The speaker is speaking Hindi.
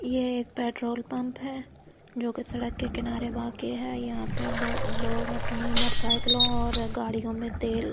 ये एक पेट्रोल पंप है जो कि सड़क के किनारे वाक्य है यहां पे लोग अपने मोटरसाइकिलों और गाड़ियों में तेल--